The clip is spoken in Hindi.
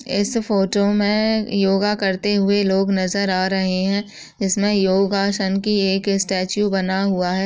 इस फोटो मे योगा करते हुए लोग नजर आ रहे हैं। जिसमे योगासन के एक स्टैचू बना हुआ है।